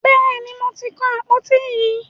Bẹ́ẹ̀ni, mo ti kan àpòtí yín.